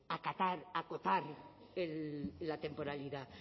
acotar la temporalidad